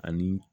Ani